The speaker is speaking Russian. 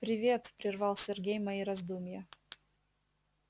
привет прервал сергей мои раздумья